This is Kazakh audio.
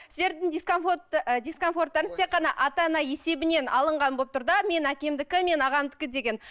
сіздердің дискомфорттарыңыз тек қана ата ана есебінен алынған болып тұр да менің әкемдікі менің ағамдікі деген